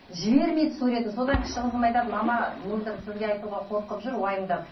жібермейді суретін содан кіші қызым айтады мама мөлдір сізге айтуға қорқып жүр уайымдап